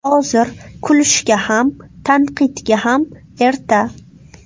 Hozir kulishga ham, tanqidga ham erta.